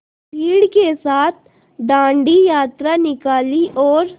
भीड़ के साथ डांडी यात्रा निकाली और